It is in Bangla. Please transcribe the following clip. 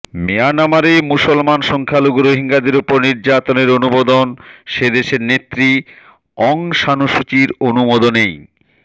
মিয়ানমারে মুসলমান সংখ্যালঘু রোহিঙ্গাদের ওপর নির্যাতনের অনুমোদন সে দেশের নেত্রী অং সান সু চির অনুমোদনেই